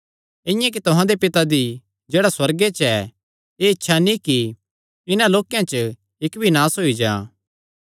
इआं ई तुहां दे पिता दी जेह्ड़ा सुअर्गे च ऐ एह़ इच्छा नीं कि इन्हां लोक्केयां च इक्क भी नास होई जां